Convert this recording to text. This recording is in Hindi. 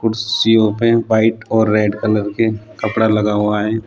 पे वाइट और रेड कलर के कपड़ा लगा हुआ है।